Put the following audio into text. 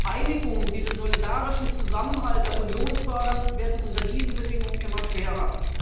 Einigungen, die den solidarischen Zusammenhalt der Union fördern, werden unter diesen Bedingungen immer schwerer.